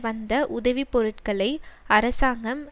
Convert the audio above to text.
வந்த உதவி பொருட்களை அரசாங்கம்